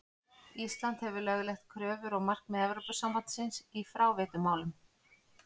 Ísland hefur lögleitt kröfur og markmið Evrópusambandsins í fráveitumálum.